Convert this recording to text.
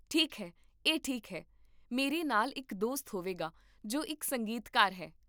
ਠੀਕ ਹੈ, ਇਹ ਠੀਕ ਹੈ, ਮੇਰੇ ਨਾਲ ਇੱਕ ਦੋਸਤ ਹੋਵੇਗਾ ਜੋ ਇੱਕ ਸੰਗੀਤਕਾਰ ਹੈ